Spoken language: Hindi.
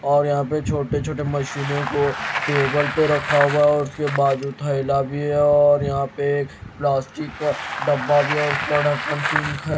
और यहां पे छोटे छोटे मशीनें को टेबल पे रखा हुआ और उसके पास जो थैला भी है और यहां पे प्लास्टिक का डब्बा भी है और उसमे ढक्कन पिंक है।